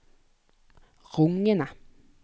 rungende